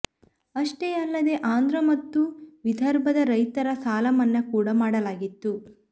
ಅಷ್ಟೇ ಅಲ್ಲದೇ ಆಂಧ್ರ ಮತ್ತು ವಿದರ್ಭದ ರೈತರ ಸಾಲಮನ್ನಾ ಕೂಡ ಮಾಡಲಾಗಿತ್ತು